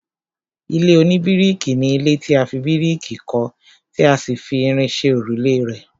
ilé oníbíríkì ni ilé tí a fi bíríkì kọ́ tí a sì fi irin ṣe òrùlé rẹ̀